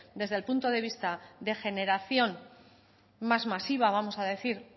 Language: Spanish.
desde el punto de vista de generación más masiva vamos a decir